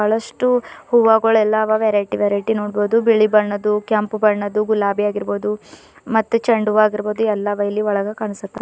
ಲಷ್ಟು ಹೂವಗಳೆಲ್ಲ ಅದವ variety variety ನೋಡ್ಬದು ಬಿಳಿ ಬಣ್ಣದ್ದು ಕೆಂಪು ಬಣ್ಣದ್ದು ಗುಲಾಬಿ ಆಗಿರ್ಬಹುದು ಮತ್ತೆ ಚೆಂಡು ಹೂವಾಗಿರ್ಬಹುದು ಎಲ್ಲ ಇಲ್ಲಿ ಒಳಗ ಕಾಣಿಸುತ್ತಾ--